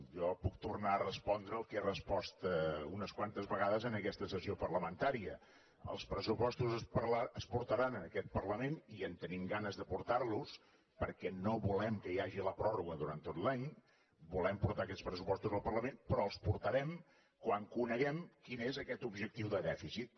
jo puc tornar a respondre el que he respost unes quantes vegades en aquesta sessió parlamentària els pressupostos es portaran en aquest parlament i en tenim ganes de portar los perquè no volem que hi hagi la pròrroga durant tot l’any volem portar aquests pressupostos al parlament però els portarem quan coneguem quin és aquest objectiu de dèficit